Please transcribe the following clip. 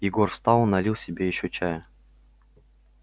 егор встал налил себе ещё чая